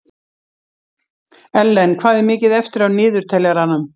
Ellen, hvað er mikið eftir af niðurteljaranum?